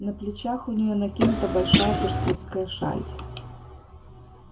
на плечах у неё накинута большая персидская шаль